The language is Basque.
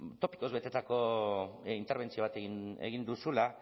zait topikoz betetako interbentzio bat egin duzula